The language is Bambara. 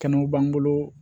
Kɛnɛw b'an bolo